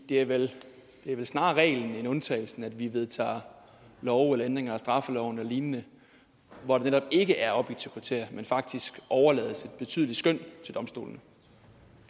det er vel snarere reglen end undtagelsen at vi vedtager love ændringer af straffeloven og lignende hvor der netop ikke er objektiv kriterier men faktisk overlades et betydeligt skøn til domstolene